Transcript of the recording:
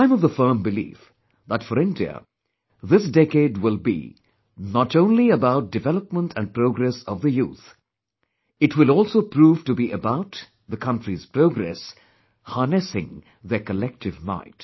I am of the firm belief that for India, this decade will be, not only about development & progress of the youth; it will also prove to be about the country's progress, harnessing their collective might